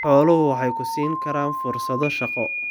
Xooluhu waxay ku siin karaan fursado shaqo.